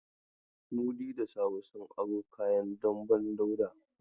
Mudi da Sabo sun aro kayan damben Dauda.